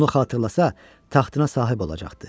Bunu xatırlasa, taxtına sahib olacaqdı.